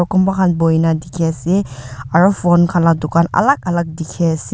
kunba khan buhina dikhi ase aro phone khan la dukan alag alag dikhi ase.